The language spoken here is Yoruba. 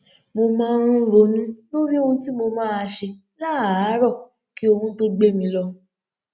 mo máa ń ronú lórí ohun tí mo máa ṣe láàárò kí oorun tó gbé mi lọ